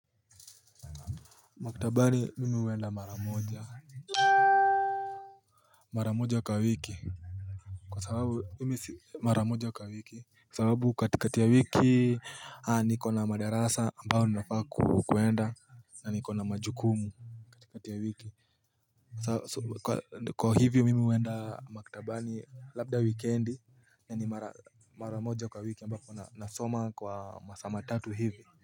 Maktabani mimi huenda mara moja Mara moja kwa wiki Kwa sababu mimi si mara moja kwa wiki Kwa sababu katikati ya wiki nikona madarasa ambayo ninafaa kwenda na nikona majukumu kati ya wiki Kwa hivyo mimi huenda makitabani labda wikendi na ni mara mara moja kwa wiki ambapo nasoma kwa masaa matatu hivi.